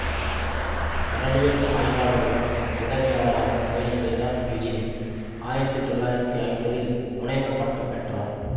கடலியல் ஆய்வாளரிடம் உதவியாளராக வேலை செய்தார் யுஜினி ஆயிரத்தி தொள்ளாயிரத்தி ஐம்பதில் முனைவர் பட்டம் பெற்றார்